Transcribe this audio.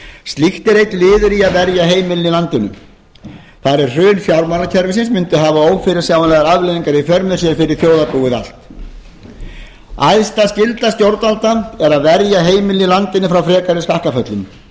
slíkt er einn liður í að verja heimilin í landinu þar eð hrun fjármálakerfisins mundi hafa ófyrirsjáanlegar afleiðingar í för með sér fyrir þjóðarbúið allt æðsta skylda stjórnvalda er að verja heimilin í landinu frá frekari skakkaföllum